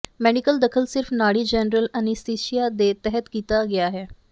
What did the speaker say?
medical ਦਖਲ ਸਿਰਫ ਨਾੜੀ ਜੈਨਰਲ ਅਨੱਸਥੀਸੀਆ ਦੇ ਤਹਿਤ ਕੀਤਾ ਗਿਆ ਹੈ